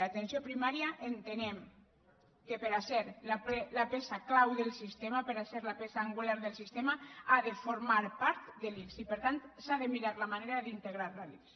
l’atenció primària entenem que per a ser la peça clau del sistema per a ser la peça angular del sistema ha de formar part de l’ics i per tant s’ha de mirar la manera d’integrar la a l’ics